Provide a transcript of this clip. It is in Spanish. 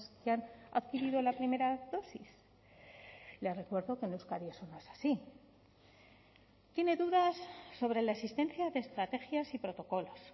que han adquirido la primera dosis le recuerdo que en euskadi eso no es así tiene dudas sobre la existencia de estrategias y protocolos